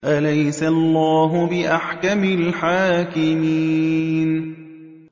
أَلَيْسَ اللَّهُ بِأَحْكَمِ الْحَاكِمِينَ